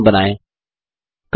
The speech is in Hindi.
नया बैकग्राउंड बनाएँ